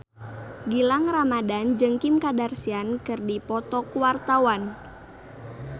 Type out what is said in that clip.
Gilang Ramadan jeung Kim Kardashian keur dipoto ku wartawan